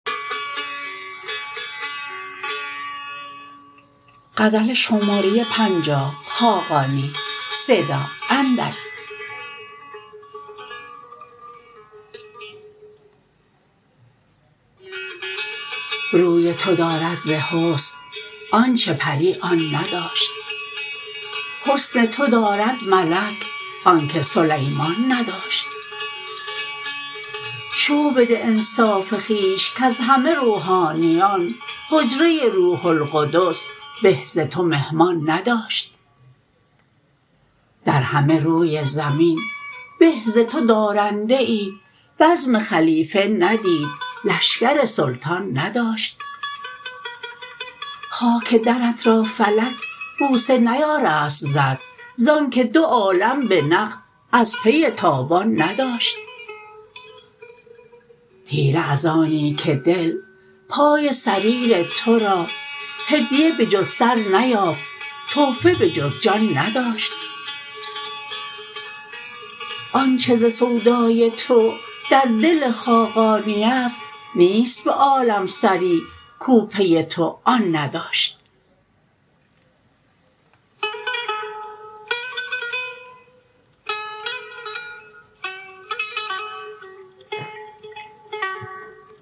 روی تو دارد ز حسن آنچه پری آن نداشت حسن تو دارد ملک آنکه سلیمان نداشت شو بده انصاف خویش کز همه روحانیان حجره روح القدس به ز تو مهمان نداشت در همه روی زمین به ز تو دارنده ای بزم خلیفه ندید لشکر سلطان نداشت خاک درت را فلک بوسه نیارست زد ز آنکه دو عالم به نقد از پی تاوان نداشت طیره از آنی که دل پای سریر تو را هدیه بجز سر نیافت تحفه بجز جان نداشت آنچه ز سودای تو در دل خاقانی است نیست به عالم سری کو پی تو آن نداشت